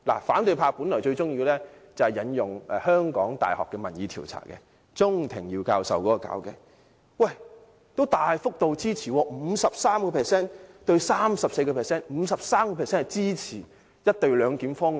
反對派本來最喜歡引用香港大學鍾庭耀教授的民意調查，但該調查結果是 53%：34%， 大幅度支持"一地兩檢"方案。